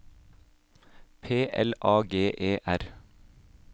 P L A G E R